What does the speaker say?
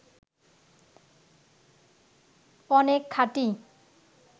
অনেক খাঁটি